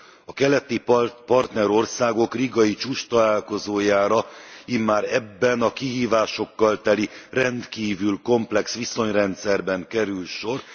A keleti partnerországok rigai csúcstalálkozójára immár ebben, a kihívásokkal teli, rendkívül komplex viszonyrendszerben kerül sor.